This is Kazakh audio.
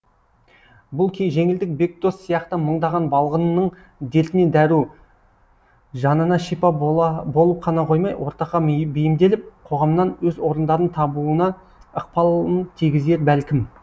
бұл жеңілдік бекдос сияқты мыңдаған балғынның дертіне дәру жанына шипа болып қана қоймай ортаға бейімделіп қоғамнан өз орындарын табуына ықпалын тигізер бәлкім